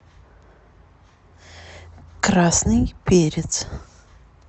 красный перец